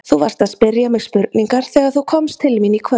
Þú varst að spyrja mig spurningar þegar þú komst til mín í kvöld.